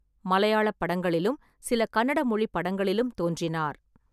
மலையாளப் படங்களிலும், சில கன்னட மொழிப் படங்களிலும் தோன்றினார்.